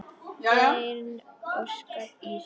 Þinn Óskar Ísak.